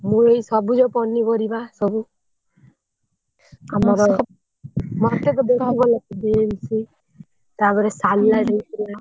ମୁଁ ଏଇ ସବୁଜ ପନିପରିବା ସବୁ ଆମର ମତେ ତ ବହୁତ ଭଲ ଲାଗେ ବିମ୍‌ସ ତାପରେ ସାଲଡ୍ ହେଇଥିଲା।